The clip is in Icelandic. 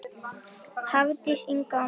Hafdís Inga og Margrét Gróa.